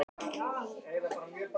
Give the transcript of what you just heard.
Allt snýst um Ég, mig, mér, mín.